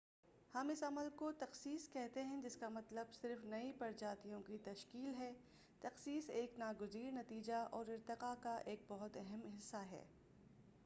ہم اس عمل کو تخصیص کہتے ہیں جس کا مطلب صرف نئی پرجاتیوں کی تشکیل ہے تخصیص ایک ناگزیر نتیجہ اور ارتقا کا ایک بہت اہم حصہ ہے